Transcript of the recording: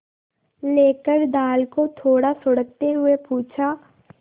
लेकर दाल को थोड़ा सुड़कते हुए पूछा